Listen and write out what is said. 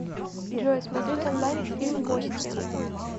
джой смотреть онлайн фильм гостья